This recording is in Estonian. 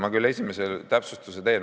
Ma teen esiteks täpsustuse.